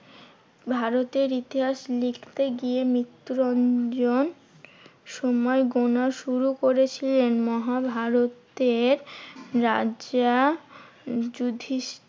ভারতের ইতিহাস লিখতে গিয়ে মৃত্যুরঞ্জন সময় গোনা শুরু করেছিলেন। মহাভারতের রাজা যুধিষ্ঠির